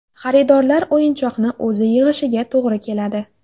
Xaridorlar o‘yinchoqni o‘zi yig‘ishiga to‘g‘ri keladi.